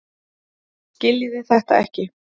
Skiljiði þetta ekki?